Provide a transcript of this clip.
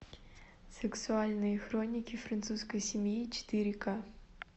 сексуальные хроники французской семьи четыре ка